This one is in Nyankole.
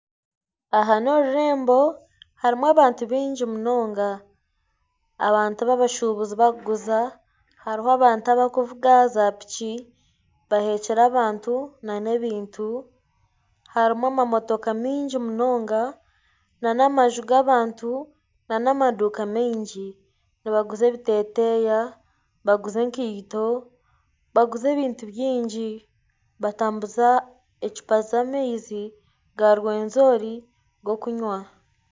Aha n'orurembo harimu abantu baingi munonga abantu babashubuzi barukuguza hariho abantu abarikuvuga za piki bahekire abantu n'ebintu harumu amamotoka mingi munonga n'amaju g'abantu n'amaduuka mingi nibaguza ebiteteya baguza enkaito baguza ebintu byingi munonga batambuza ecupa z'amaizi ga Rwenzori g'okunywa.